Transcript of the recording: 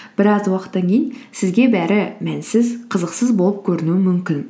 біраз уақыттан кейін сізге бәрі мәнсіз қызықсыз болып көрінуі мүмкін